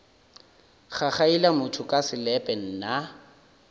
gagaila motho ka selepe nna